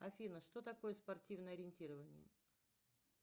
афина что такое спортивное ориентирование